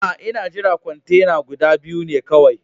Aa, n'na jira kwantena guda biyu ne kawai.